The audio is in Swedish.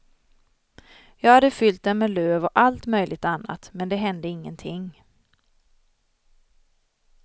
Jag hade fyllt den med löv och allt möjligt annat, men det hände ingenting.